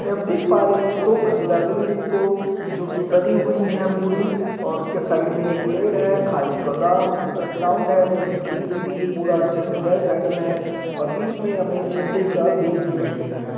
इसमें हम देख पा रहे हैं दो मंजिला बिल्डिंग को जो की बनी हुई है पूरी और उसके साइड में पेड़ है खादी गोदाम ग्राउंड है जो की ग्रीन ग्रीन पूरा अच्छे से बेल सेटल है और बीच में हमें झंडे का बेस दिखाई दे रहा है।